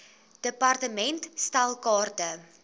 department stel kaarte